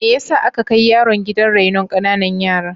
Me yasa aka kai yaron gidan rainon ƙananan yara?